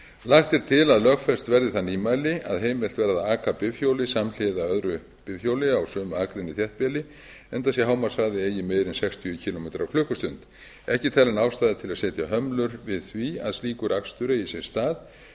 lagt er til að lögfest verði það nýmæli að heimilt verði að aka bifhjóli samhliða öðru bifhjóli á sömu akrein í þéttbýli enda sé hámarkshraði eigi meiri en sextíu kílómetra á klukkustund ekki er talin ástæða til að setja hömlur við því að slíkur akstur eigi sér stað